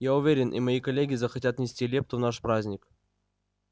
я уверен и мои коллеги захотят внести лепту в наш праздник